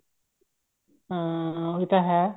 ਹਾਂ ਉਹੀ ਤਾਂ ਹੈ